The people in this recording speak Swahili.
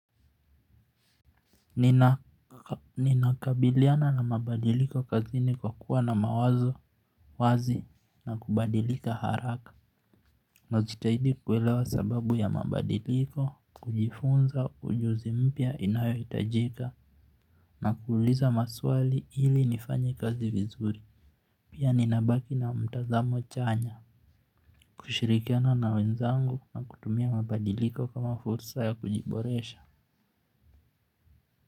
Ninakabiliana na mabadiliko kazini kwa kuwa na mawazo wazi na kubadilika haraka. Najitahidi kuelewa sababu ya mabadiliko kujifunza ujuzi mpya inayo itajika. Na kuuliza maswali ili nifanye kazi vizuri. Pia nina baki na mtazamo chanya. Kushirikiana na wenzangu na kutumia mabadiliko kama fursa ya kujiboresha.